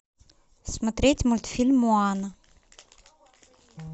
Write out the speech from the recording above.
смотреть мультфильм моана